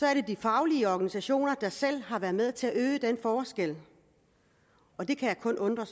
er de faglige organisationer der selv har været med til at øge forskellen og det kan jeg kun undre